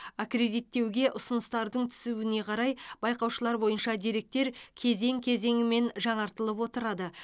аккредиттеуге ұсыныстардың түсуіне қарай байқаушылар бойынша деректер кезең кезеңімен жаңартылып отырады